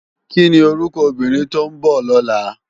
Kini órúkò óbìrín tó n bò lòlá?